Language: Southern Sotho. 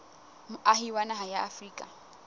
moahi wa naha ya afrika